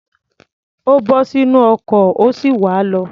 Ó bọ́ sínú ọkọ̀, ó sì wá̀ á lọ.